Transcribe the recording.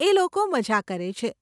એ લોકો મઝા કરે છે.